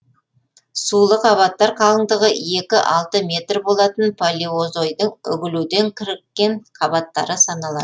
сулы қабаттар қалыңдығы екі алты метр болатын палеозойдың үгілуден кіріккен қабаттары саналады